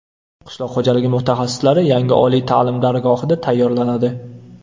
Qishloq xo‘jaligi mutaxassislari yangi oliy ta’lim dargohida tayyorlanadi.